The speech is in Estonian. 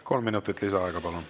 Kolm minutit lisaaega, palun.